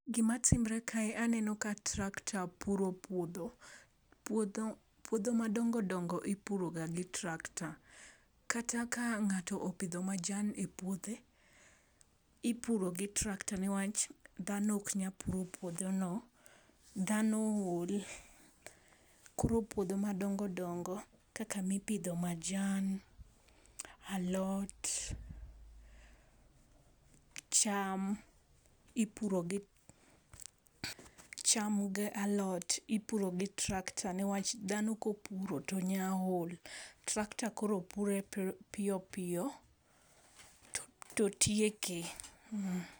Gima timore kae aneno ka tractor puro puodho. Puodho puodho madongo dongo ipuroga gi tractor. Kata ka ng'ato opidho majan e puothe, ipuro gi tractor niwach dhano ok nyal puro puodho no. Dhano ol koro puodho madongo dongo kaka mipidho majan, alot, cham ipuro gi , cham gi alot ipuro gi tractor niwach dhano kopuro to nyalo ol. tractor koro pure piyo piyo to tieke mm.